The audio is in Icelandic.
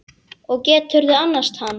Og geturðu annast hann?